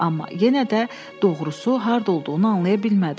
Amma yenə də doğrusu harda olduğunu anlaya bilmədi.